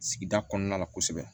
Sigida kɔnɔna la kosɛbɛ